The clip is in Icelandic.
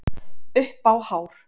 Upp á hár